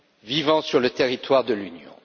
vivant sur le territoire de l'Union.